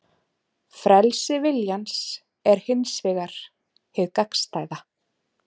Frelsi viljans er hins vegar hið gagnstæða.